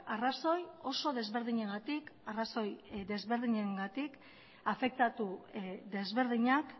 arrazoi oso desberdinagatik arrazoi desberdinengatik afektatu desberdinak